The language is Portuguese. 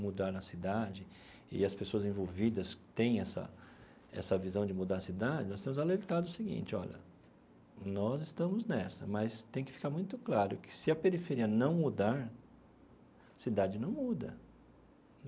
mudar a cidade, e as pessoas envolvidas têm essa essa visão de mudar a cidade, nós temos alertado o seguinte, olha, nós estamos nessa, mas tem que ficar muito claro que se a periferia não mudar, a cidade não muda.